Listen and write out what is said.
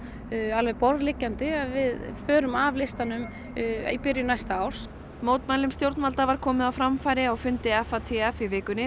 alveg borðliggjandi að við förum af listanum í byrjun næsta árs mótmælum stjórnvalda var komið á framfæri á fundi FATF í vikunni